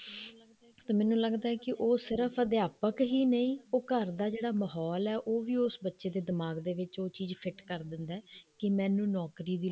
ਤੇ ਮੈਨੂੰ ਲੱਗਦਾ ਉਹ ਸਿਰਫ ਅਧਿਆਪਕ ਹੀ ਨਹੀਂ ਉਹ ਘਰ ਦਾ ਜਿਹੜਾ ਮਾਹੋਲ ਹੈ ਉਹ ਵੀ ਉਸ ਬੱਚੇ ਦੇ ਦਿਮਾਗ ਦੇ ਵਿੱਚ ਉਹ ਚੀਜ਼ fit ਕਰ ਦਿੰਦਾ ਕੇ ਮੈਨੂੰ ਨੋਕਰੀ ਦੀ ਲੋੜ ਹੈ